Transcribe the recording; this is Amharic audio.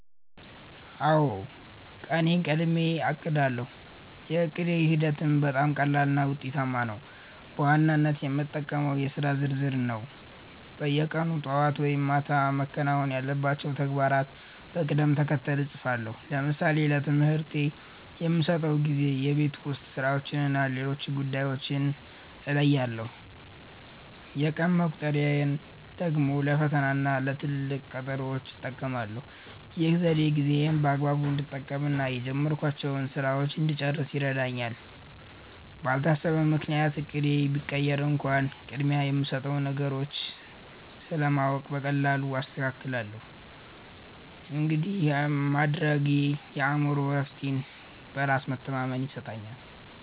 አውዎ፣ ቀኔን ቀድሜ አቅዳለው። የዕቅድ ሂደቴም በጣም ቀላልና ውጤታማ ነው። በዋናነት የምጠቀመው የሥራ ዝርዝርን ነው። በየቀኑ ጠዋት ወይም ማታ መከናወን ያለባቸውን ተግባራት በቅደም ተከተል እጽፋለሁ። ለምሳሌ ለትምህርቴ የምሰጠውን ጊዜ፣ የቤት ውስጥ ሥራዎችንና ሌሎች ጉዳዮችን እለያለሁ። የቀን መቁጠሪያን ደግሞ ለፈተናና ለትልቅ ቀጠሮዎች እጠቀማለሁ። ይህ ዘዴ ጊዜዬን በአግባቡ እንድጠቀምና የጀመርኳቸውን ሥራዎች እንድጨርስ ይረዳኛል። ባልታሰበ ምክንያት እቅዴ ቢቀየር እንኳን፣ ቅድሚያ የምሰጣቸውን ነገሮች ስለማውቅ በቀላሉ አስተካክላለሁ። እንዲህ ማድረጌ የአእምሮ እረፍትና በራስ መተማመን ይሰጠኛል።